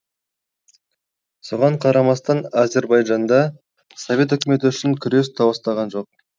соған қарамастан азербайжанда совет өкіметі үшін күрес толастаған жоқ